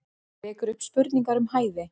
Vekur upp spurningar um hæfi